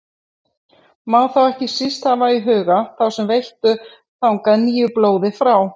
Má þá ekki síst hafa í huga þá sem veittu þangað nýju blóði frá